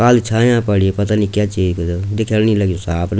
काली छाया पड़ी पता नि क्या च इख दिखेण नि लग्युं साफ।